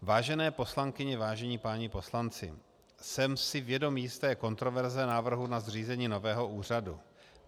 Vážené poslankyně, vážení páni poslanci, jsem si vědom jisté kontroverze návrhu na zřízení nového úřadu.